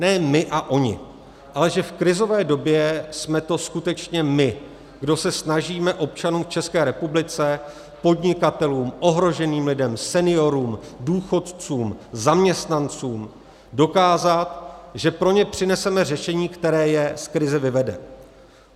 Ne my a oni, ale že v krizové době jsme to skutečně my, kdo se snažíme občanům v České republice, podnikatelům, ohroženým lidem, seniorům, důchodcům, zaměstnancům dokázat, že pro ně přineseme řešení, které je z krize vyvede.